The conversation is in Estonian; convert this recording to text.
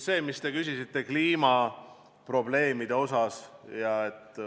Te küsisite kliimaprobleemide kohta.